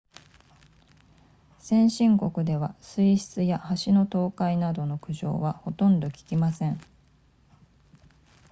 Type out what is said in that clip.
先進国では水質や橋の倒壊などの苦情はほとんど聞きません